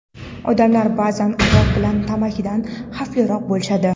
Odamlar ba’zan aroq bilan tamakidan xavfliroq bo‘lishadi.